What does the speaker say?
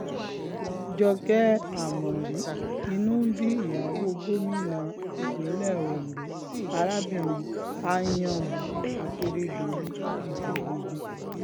jókè ámórì inú ń bí ìyàwó gómìnà ìpínlẹ̀ ondo arábìnrin anyànwu akérèdọ́lù gidigidi